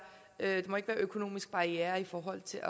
økonomiske barrierer i forhold til